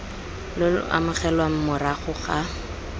lo lo amogelwang morago ga